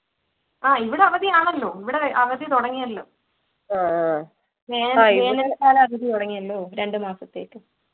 ആഹ് ഇവിടെ അവധിയാണല്ലോ ഇവിടെ അവധി തുടങ്ങിയല്ലോ വേനൽക്കാല അവധി തുടങ്ങിയല്ലോ രണ്ടു മാസത്തേക്ക്